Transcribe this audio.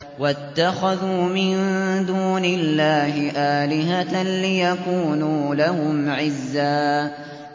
وَاتَّخَذُوا مِن دُونِ اللَّهِ آلِهَةً لِّيَكُونُوا لَهُمْ عِزًّا